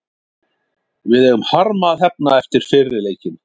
Við eigum harma að hefna eftir fyrri leikinn.